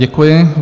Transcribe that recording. Děkuji.